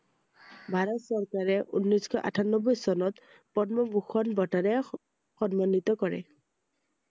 ভাৰত চৰকাৰে ঊনৈছ শ আঠানব্বৈ চনত পদ্মভূষণ বঁটাৰে স~সন্মানিত কৰে i